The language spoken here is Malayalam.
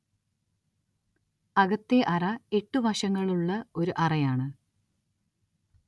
അകത്തെ അറ എട്ട് വശങ്ങളുള്ള ഒരു അറയാണ്.